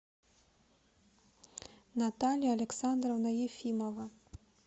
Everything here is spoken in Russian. наталья александровна ефимова